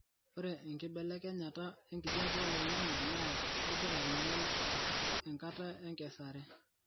ore enkibelekenyata enkijape oloingangi naa kegira ainyel enkata enkesare